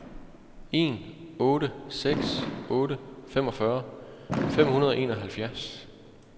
en otte seks otte femogfyrre fem hundrede og enoghalvfjerds